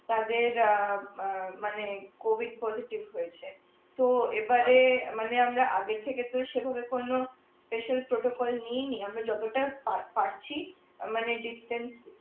তাদের অ্যাঁ মানে কোভিড হয়েছে তো এবারে মানে আমরা থেকে তো সেভাবে কোন নেইনি আমরা যতটা পা পারছি মানে